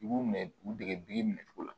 U b'u minɛ u degecogo la